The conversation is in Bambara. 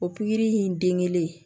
O pikiri in den kelen